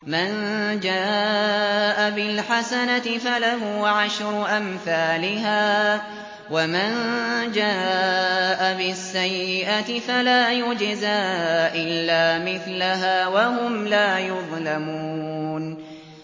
مَن جَاءَ بِالْحَسَنَةِ فَلَهُ عَشْرُ أَمْثَالِهَا ۖ وَمَن جَاءَ بِالسَّيِّئَةِ فَلَا يُجْزَىٰ إِلَّا مِثْلَهَا وَهُمْ لَا يُظْلَمُونَ